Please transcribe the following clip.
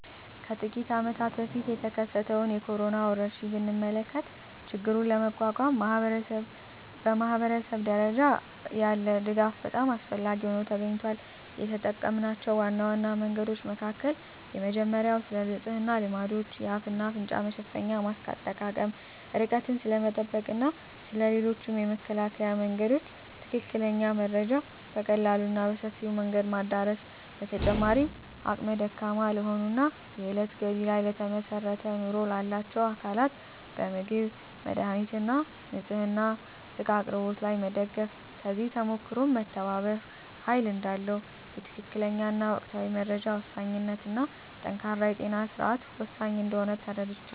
ከጥቂት አመታት በፊት የተከሰተውን የኮሮና ወረርሽኝ ብንመለከ ችግሩን ለመቋቋም ማኅበረሰብ ደረጃ ያለ ድጋፍ በጣም አስፈላጊ ሆኖ ተገኝቷል። የተጠምናቸው ዋና ዋና መንገዶች መካከል የመጀመሪያው ስለንጽህና ልማዶች፣ የአፍ እና አፍንጫ መሸፈኛ ማስክ አጠቃቀም፣ ርቀትን ስለመጠበቅ እና ስለ ሌሎችም የመከላከያ መንገዶች ትክክለኛ መረጃ በቀላሉ እና በሰፊው መንገድ ማዳረስ። በተጨማሪም አቅመ ደካማ ለሆኑ እና የእለት ገቢ ላይ ለተመሰረተ ኑሮ ላላቸው አካላት በምግብ፣ መድሃኒት እና ንፅህና እቃ አቅርቦት ላይ መደገፍ። ከዚህ ተሞክሮም መተባበር ኃይል እዳለው፣ የትክክለኛ እና ወቅታዊ መረጃ ወሳኝነት እና ጠንካራ የጤና ስርዓት ወሳኝ እንደሆነ ተረድቻለሁ።